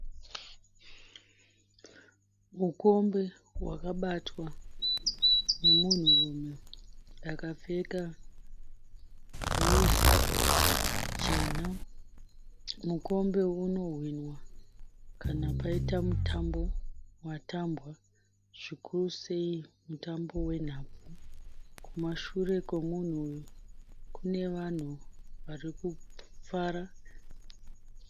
Mukombe wakabatwa nemunhurume akapfeka juzi jena. Mukombe unohwinwa kana paita mutambo watambwa zvikuru sei mutambo wenhabvu. Kumashure komunhu uyu kune vanhu vari kufara.